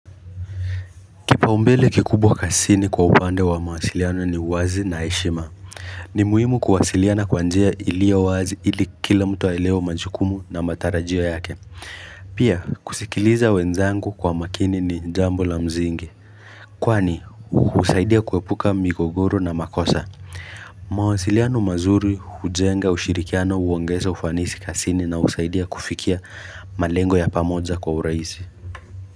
Kipaumbele kikubwa kasini kwa upande wa mawasiliano ni uwazi na heshima ni muhimu kuwasiliana kwanjia ili yo wazi ili kila mtu aelewe majukumu na matarajio yake Pia kusikiliza wenzangu kwa makini ni jambo la mzingi Kwani husaidia kuepuka migogoro na makosa mawasiliano mazuri hujenga ushirikiano huongeza ufanisi kasini na husaidia kufikia malengo ya pamoja kwa urahisi.